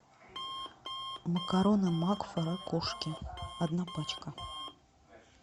макароны макфа ракушки одна пачка